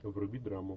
вруби драму